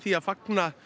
að fagna